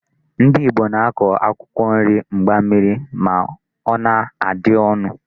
Ndị Ìgbo na-akọ akwụkwọ nri mgbammiri ma ọ na-adị ọnụ.